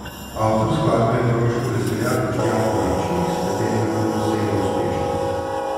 Avtor skladbe je koroški veseljak Boštjan Konečnik, s katerim nadaljujejo serijo uspešnic.